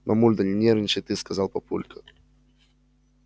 мамуль да не нервничай ты сказал папулька